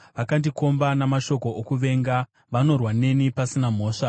Vakandikomba namashoko okuvenga; vanorwa neni pasina mhosva.